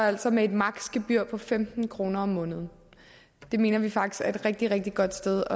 altså med et maksimum gebyr på femten kroner om måneden det mener vi faktisk er et rigtig rigtig godt sted